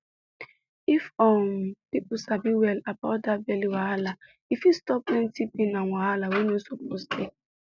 if um people sabi well about that belly wahala e fit stop plenty pain and wahala wey no suppose dey